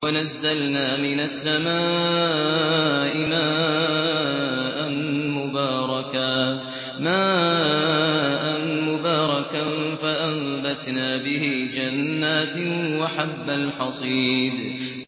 وَنَزَّلْنَا مِنَ السَّمَاءِ مَاءً مُّبَارَكًا فَأَنبَتْنَا بِهِ جَنَّاتٍ وَحَبَّ الْحَصِيدِ